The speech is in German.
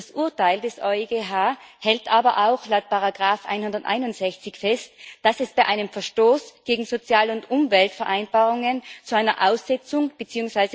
Das Urteil des EuGH hält aber auch laut Randnummer 161 fest, dass es bei einem Verstoß gegen Sozial und Umweltvereinbarungen zu einer Aussetzung bzw.